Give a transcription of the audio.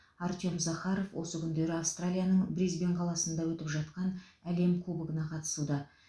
артем захаров осы күндері австралияның брисбен қаласында өтіп жатқан әлем кубогына қатысуда